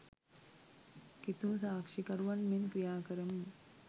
කිතුනු සාක්ෂිකරුවන් මෙන් ක්‍රියා කරමු